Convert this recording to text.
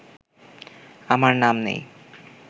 আমার নাম নেই